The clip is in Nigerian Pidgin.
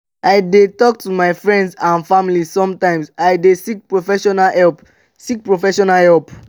i dey talk to my friends and family and sometimes i dey seek professional help. seek professional help.